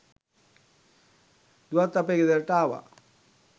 දුවත් අපේ ගෙදරට ආවා